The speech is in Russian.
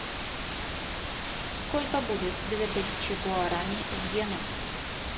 сколько будет две тысячи гуарани в иенах